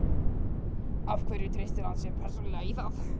Af hverju treystir hann sér persónulega í það?